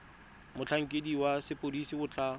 motlhankedi wa sepodisi o tla